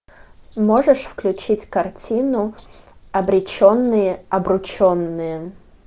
можешь включить картину обреченные обрученные